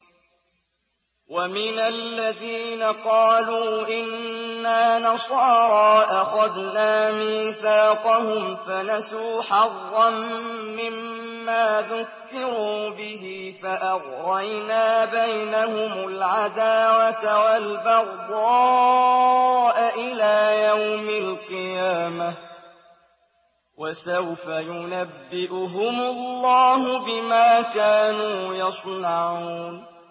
وَمِنَ الَّذِينَ قَالُوا إِنَّا نَصَارَىٰ أَخَذْنَا مِيثَاقَهُمْ فَنَسُوا حَظًّا مِّمَّا ذُكِّرُوا بِهِ فَأَغْرَيْنَا بَيْنَهُمُ الْعَدَاوَةَ وَالْبَغْضَاءَ إِلَىٰ يَوْمِ الْقِيَامَةِ ۚ وَسَوْفَ يُنَبِّئُهُمُ اللَّهُ بِمَا كَانُوا يَصْنَعُونَ